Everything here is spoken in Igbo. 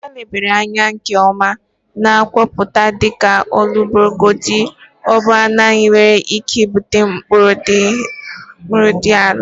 Ha lebara anya nke ọma na nkọwapụta dịka ọbụlagodi obere njehie nwere ike ibute mkpụrụ dị ala..